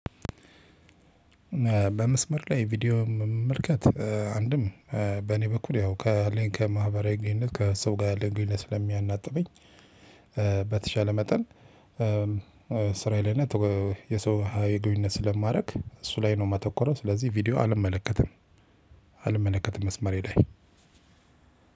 በመስመር ላይ ቪዲዮ መመልከት አንድም በኔ በኩል ያው ከማህበራዊ ልክ ከሰው ጋር ልክ ስለሚያናውጥብኝ በተሻለ መጠን እስራዬ ላይ እና ላይ የሰው ሀይል ጉልበት ስለማደርግ እሱ ላይ ነው የማተኮረው ስለዚህ ቪዲዮ አልመለከትም። አልመለከትም መስመሬ ላይ